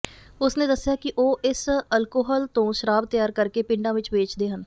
ਉਸ ਨੇ ਦੱਸਿਆ ਕਿ ਉਹ ਇਸ ਅਲਕੋਹਲ ਤੋਂ ਸ਼ਰਾਬ ਤਿਆਰ ਕਰਕੇ ਪਿੰਡਾਂ ਵਿਚ ਵੇਚਦੇ ਹਨ